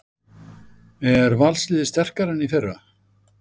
Er Valsliðið sterkara en í fyrra?